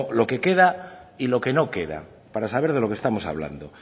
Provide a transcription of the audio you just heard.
lo que queda y lo que no queda para saber de lo que estamos hablando